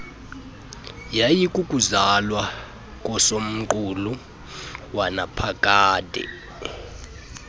yayikukuzalwa kosomqulu wanaphakade